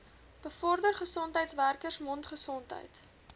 bevorder gesondheidswerkers mondgesondheid